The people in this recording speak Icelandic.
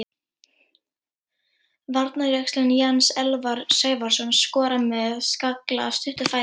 Varnarjaxlinn Jens Elvar Sævarsson skorar með skalla af stuttu færi.